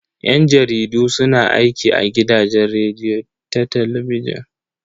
Yan jaridu su na aiki a gidajen rediyo da talabijin.